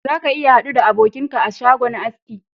Za ka iya hadu da abokinka a shagon haski